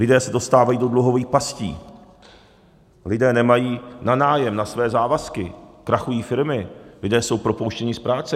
Lidé se dostávají do dluhových pastí, lidé nemají na nájem, na své závazky, krachují firmy, lidé jsou propouštěni z práce.